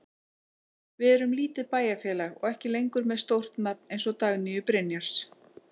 Við erum lítið bæjarfélag og ekki lengur með stórt nafn eins og Dagnýju Brynjars.